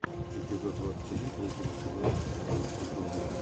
эпизод двадцать один третьего сезона стреляющие горы